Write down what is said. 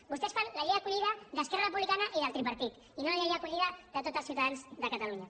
vostès fan la llei d’acollida d’esquerra republicana i del tripartit i no la llei d’acollida de tots els ciutadans de catalunya